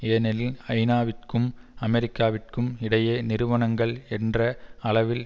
ஏனெனில் ஐநாவிற்கும் அமெரிக்காவிற்கும் இடையே நிறுவனங்கள் என்ற அளவில்